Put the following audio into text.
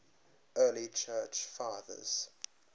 early church fathers